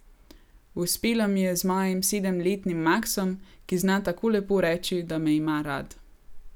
Uspelo mi je z mojim sedemletnim Maksom, ki zna tako lepo reči, da me ima rad.